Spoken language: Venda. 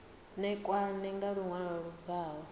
ṋekane nga luṅwalo lu bvaho